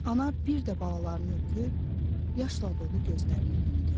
Ana bir də balalarını öpüb, yaşla dolu gözlərini yumdu.